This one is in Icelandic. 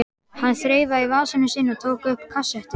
Hann þreifaði í vasann sinn og tók upp kassettu.